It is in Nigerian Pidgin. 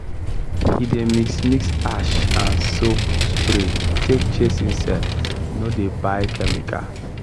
he dey mix mix ash and soap spray take chase insect no dey buy chemical